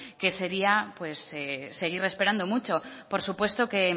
que sería seguir esperando mucho por supuesto que